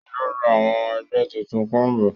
O yóò rá awon ẹgbẹ títún combu